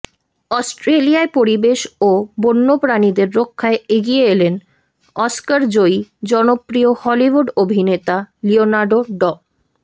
অস্ট্রেলিয়ায় পরিবেশ ও বন্যপ্রাণীদের রক্ষায় এগিয়ে এলেন অস্কারজয়ী জনপ্রিয় হলিউড অভিনেতা লিওনার্দো ড